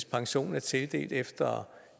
pensionen er tildelt efter